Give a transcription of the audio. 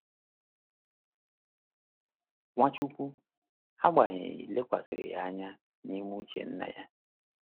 Nwachukwu, agbanyeghị, lekwasịrị anya n’ime uche Nna ya.